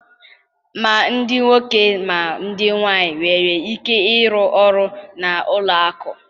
Ma ndị nwoke ma ndị nwaanyị nwere ike ịrụ ọrụ na ụlọ akụ